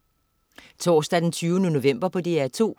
Torsdag den 20. november - DR2: